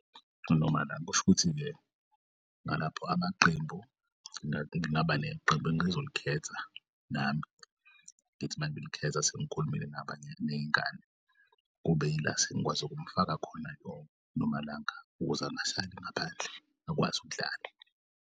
Nomalanga kusho ukuthi-ke ngalapho amaqembu ngingaba neqembu engizolikhetha nami, ngithi mangilikhetha sengikhulumile nabaney'ngane. Kube yila sengikwazi ukumfaka khona noma ngala ukuze angasali ngaphandle akwaz'ukudlala.